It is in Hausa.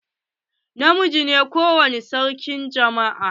Na miji shi ne sarki a ko wani jama'a.